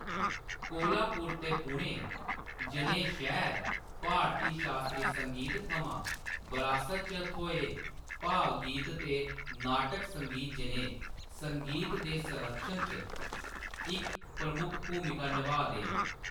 कोल्हापुर ते पुणे जनेह् शैह्‌र भारती शास्त्री संगीत थमां बरासत च थ्होए भावगीत ते नाटक संगीत जनेह् संगीत दे संरक्षण च इक प्रमुख भूमिका नभाऽ दे न।